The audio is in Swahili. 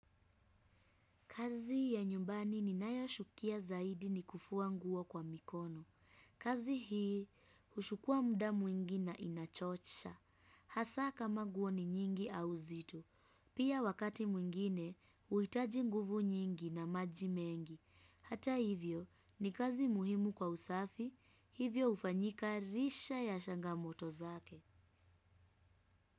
Kazi ya nyumbani ni nayoshukia zaidi ni kufua nguo kwa mikono. Kazi hii ushukua muda mwingi na inachosha. Hasa ka ma nguo ni nyingi au nzito. Pia wakati mwingine, uitaji nguvu nyingi na majimengi. Hata hivyo ni kazi muhimu kwa usafi, hivyo ufanyika risha ya shangamoto zake.